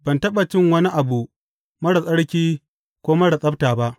Ban taɓa cin wani abu marar tsarki ko marar tsabta ba.’